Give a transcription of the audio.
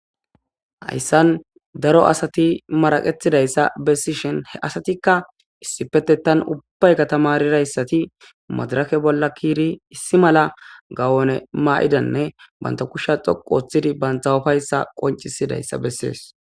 hayssan daro asati maraqetidayssa bessishen he asatikka issipetetan ubbay katamarirayssati madarake bolla kiiri issi mala gawone maa7idanne banta kusha xoqu oththidi bantha ufayssa qoncisidayssa bessees